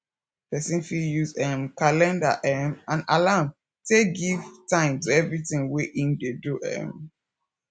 person fit use um calender um and alarm take give time to everything wey im dey do um